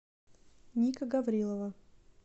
ника гаврилова